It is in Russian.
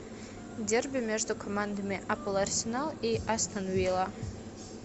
дерби между командами апл арсенал и астон вилла